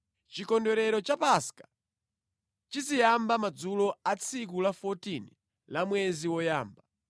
Chikondwerero cha Paska chiziyamba madzulo a tsiku la 14 la mwezi woyamba.